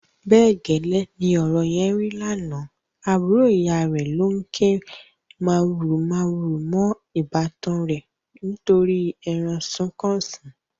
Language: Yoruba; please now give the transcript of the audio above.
Bẹ́ẹ̀ gẹ́lẹ́ ni ọ̀rọ̀ yẹn rí lánàá, àbúrò ìyá rẹ̀ ló ń ké màhurumàhuru mọ́ ìbátan rẹ̀ nítorí ẹran sunkúnsí.